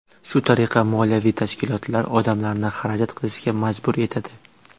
Shu tariqa, moliyaviy tashkilotlar odamlarni xarajat qilishga majbur etadi.